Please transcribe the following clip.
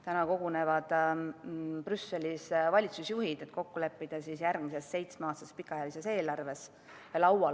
Täna kogunevad Brüsselis valitsusjuhid, et kokku leppida järgmises pikaajalises, seitsmeaastases eelarves.